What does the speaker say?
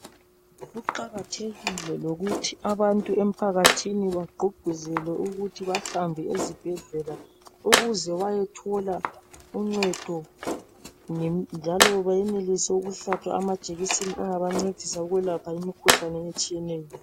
Kuqakathekile lokuthi abantu emphakathini, bagqugquzelwe ukuthi bahambe ezibhedlela. Ukuze bayethola uncedo, njalo bayenelise ukuhlatshwa amajekiseni, angabancedisa ukwelapha imikhuhlane etshiyeneyo.